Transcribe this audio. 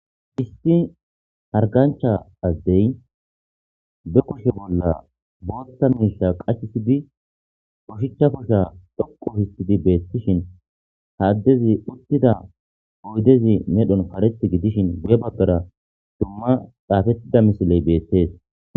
isti hargancha azdey be koshe bolla bootta miisha qachisidi koshicha kosha dhoqu histidi beettishin haaddezi uttida oydezi medhon karethi gidishin bebabbera dumma xaafettida misiley beettees